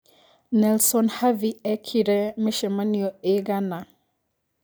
Nelson Havi ekĩre micemanio ĩgana